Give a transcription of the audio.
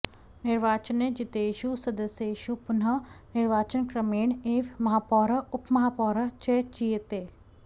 निर्वाचने जितेषु सदस्येषु पुनः निर्वाचनक्रमेण एव महापौरः उपमहापौरः च चीयेते